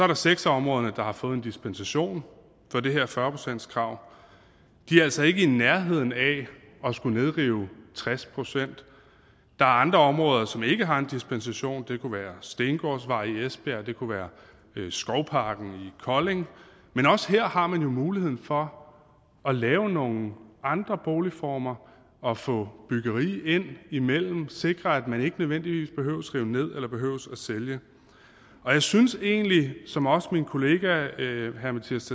der seks af områderne der har fået en dispensation fra det her fyrre procentskrav de er altså ikke i nærheden af at skulle nedrive tres procent der er andre områder som ikke har en dispensation det kunne være stengårdsvej i esbjerg det kunne være skovparken i kolding men også her har man jo muligheden for at lave nogle andre boligformer og få byggeri ind imellem og sikre at man ikke nødvendigvis behøver at rive ned eller behøver at sælge jeg synes egentlig som også min kollega herre mattias